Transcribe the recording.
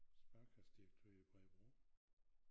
Sparekassedirektør i Bredebro